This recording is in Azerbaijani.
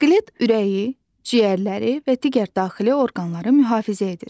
Skelet ürəyi, ciyərləri və digər daxili orqanları mühafizə edir.